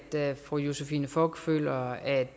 til at fru josephine fock føler at